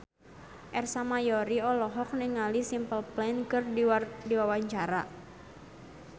Ersa Mayori olohok ningali Simple Plan keur diwawancara